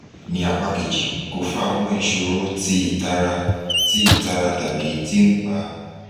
ni apa keji ko fa awọn iṣoro ti itara ti itara tabi ti npa